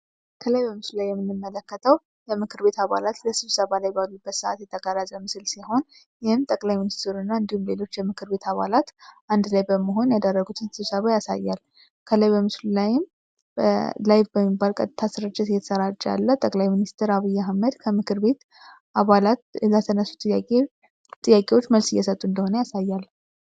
ከላይ በምስሉ ላይ የምንመለከተው የምክር ቤት አባላት ለስብሰባ ላይ ባሉበት ሰአት የተቀረፀ ምስል ሲሆን፤ ይህም ጠቅላይ ሚኒስትሩ እና የምክር ቤቶች የምክር ቤት አባላት አንድ ላይ በመሆን ያደረጉትን ስብሰባ ያሳያል። ከላይ በምስሉ ላይም በቀጥታ ስርጭት ያለ ጠቅላይ ሚኒስትር አብይ አህመድ ከምክር ቤት አባላት ጥያቄ ጥያቄዎች መልስ እየሰጡ እንደሆነ ያሳያል።